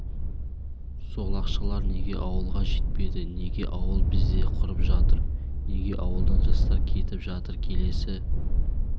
сол ақшалар неге ауылға жетпеді неге ауыл бізде құрып жатыр неге ауылдан жастар кетіп жатыр келесі